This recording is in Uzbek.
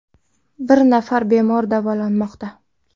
Bir nafar bemor davolanmoqda.